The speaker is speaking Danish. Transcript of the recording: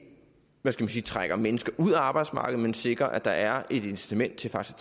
hvad skal man sige trækker mennesker ud af arbejdsmarkedet men sikrer at der er et incitament til faktisk